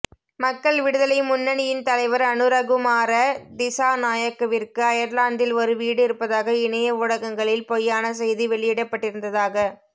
மக்கள் விடுதலை முன்னணியின் தலைவர் அனுரகுமார திஸாநாயக்கவிற்கு அயர்லாந்தில் ஒரு வீடு இருப்பதாக இணைய ஊடகங்களில் பொய்யான செய்தி வெளியிடப்பட்டிருந்ததாக